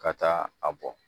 Ka taa a bɔ